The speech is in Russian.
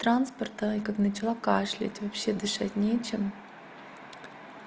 транспорта и как начала кашлять вообще дышать не чем